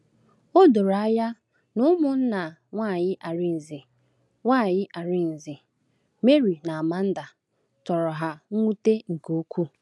O doro anya na ụmụnna nwanyị Arinze — nwanyị Arinze — Mary na Amanda — tọrọ ha mwute nke ukwuu.